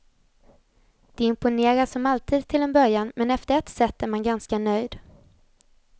De imponerar som alltid till en början men efter ett set är man ganska nöjd.